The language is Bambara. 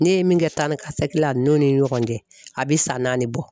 Ne ye min kɛ taanikasegin la ninnu ni ɲɔgɔn cɛ a bi san naani bɔ